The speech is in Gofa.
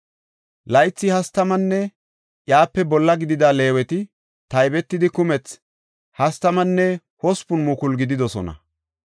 Laythi hastamanne iyape bolla gidida Leeweti taybetidi kumethi 38,000 gididosona.